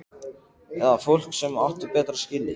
Eða fólk sem átti betra skilið?